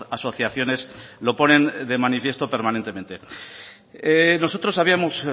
asociaciones lo ponen de manifiesto permanentemente nosotros habíamos